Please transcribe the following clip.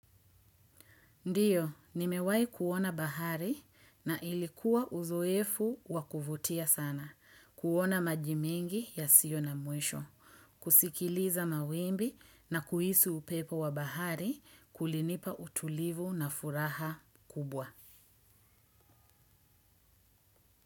Ndiyo, nimewahi kuona bahari na ilikuwa uzoefu wa kuvutia sana, kuona maji mengi yasiyo na mwisho, kusikiliza mawimbi na kuhisi upepo wa bahari kulinipa utulivu na furaha kubwa.